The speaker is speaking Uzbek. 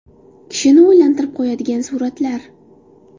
Kishini o‘ylantirib qo‘yadigan suratlar .